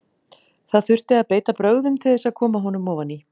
Það þurfti að beita brögðum til þess að koma honum ofan í hann.